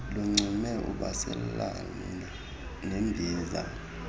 lungcume ubaselana nembiza